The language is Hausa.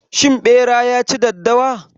Shin ɓera ya ci daddawa?